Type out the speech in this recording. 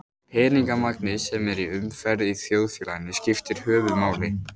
Peningamagnið sem er í umferð í þjóðfélaginu skiptir höfuðmáli.